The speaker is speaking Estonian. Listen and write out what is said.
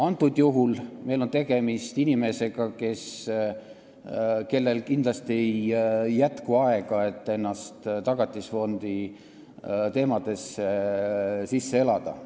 Antud juhul on meil tegemist inimesega, kellel kindlasti ei jätku aega, et Tagatisfondi teemadesse sisse elada.